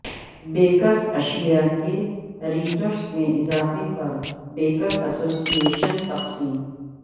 bakers اشیاء کے rates میں اضافے پر بیکرز ایسوسی ایشن تقسیم